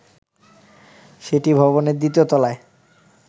সেটি ভবনের দ্বিতীয় তলায়